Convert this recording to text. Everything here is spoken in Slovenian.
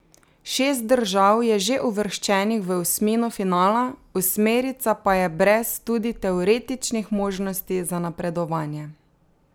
Šest držav je že uvrščenih v osmino finala, osmerica pa je brez tudi teoretičnih možnosti za napredovanje.